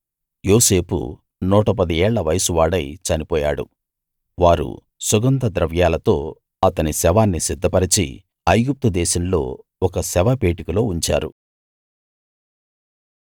యోసేపు 110 ఏళ్ల వయసువాడై చనిపోయాడు వారు సుగంధ ద్రవ్యాలతో అతని శవాన్ని సిద్ధపరచి ఐగుప్తు దేశంలో ఒక శవపేటికలో ఉంచారు